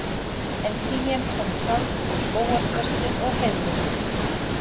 En krían kom sjálf og skógarþrestir og heiðlóur